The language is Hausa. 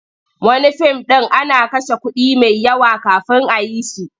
Wani fim ɗin ana kashe kuɗi mai yawa kafin a yi shi.